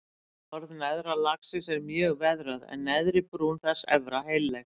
Efra borð neðra lagsins er mjög veðrað en neðri brún þess efra heilleg.